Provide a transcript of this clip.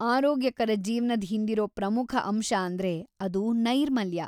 ಆರೋಗ್ಯಕರ ಜೀವ್ನದ್ ಹಿಂದಿರೋ ಪ್ರಮುಖ ಅಂಶ ಅಂದ್ರೆ ಅದು ನೈರ್ಮಲ್ಯ.